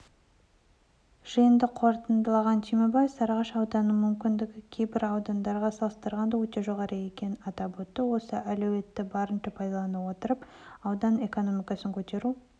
жиынды қорытындылаған түймебаев сарыағаш ауданының мүмкіндігі кейбір аудандармен салыстырғанда өте жоғары екенін айтып осы әлеуетті барынша пайдалана отырып аудан экономикасын көтеру